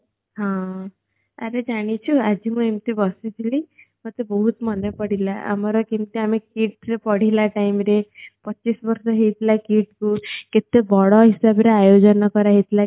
ହଁ ଆରେ ଜାଣିଚୁ ଆଜି ମୁଁ ଏମିତି ବସିଥିଲି ମତେ ବହୁତ୍ ମନେ ପଡିଲା ଆମର କେମିତି ଆମେ KIIT ରେ ପଢିଲା time ରେ ପଚିଶ ବର୍ଷ ହେଇଥିଲା KIIT କୁ କେତେ ବଡ ହିସାବ ରେ ଆୟୋଜନ କରା ହେଇଥିଲା